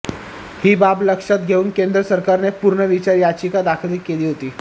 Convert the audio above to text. ही बाब लक्षात घेऊन केंद्र सरकारने पुनर्विचार याचिका दाखल केली होती